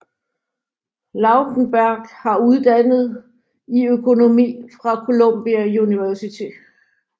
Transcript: Lautenberg har uddannet i økonomi fra Columbia University